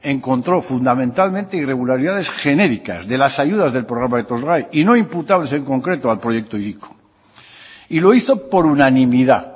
encontró fundamentalmente irregularidades genéricas de las ayudas del programa etorgai y no imputables en concreto al proyecto hiriko y lo hizo por unanimidad